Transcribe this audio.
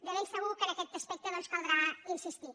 de ben segur que en aquest aspecte doncs caldrà insistir